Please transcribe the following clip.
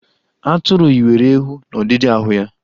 Atụru yiwere ewu n'ọdidi ahụ ya.